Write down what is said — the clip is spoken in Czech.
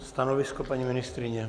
Stanovisko, paní ministryně?